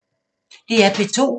DR P2